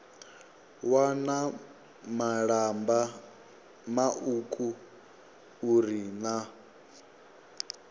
wana malamba mauku uri na